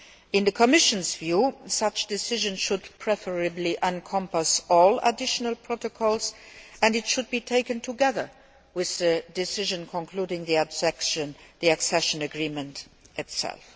In the Commission's view, such decisions should preferably encompass all additional protocols and should be taken together with the decision concluding the accession agreement itself.